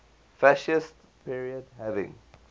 fascist period having